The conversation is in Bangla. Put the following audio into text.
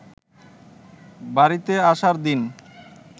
বাড়িতে আসার দিন